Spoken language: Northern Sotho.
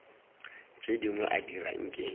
tše dingwe a dira nke